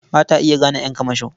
Ba ta iya gane ƴan kamasho.